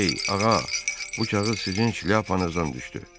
Ey, ağa, bu kağız sizin şlyapanızdan düşdü.